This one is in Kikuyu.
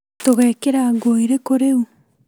Tũgekĩra nguo irĩkũ rĩu?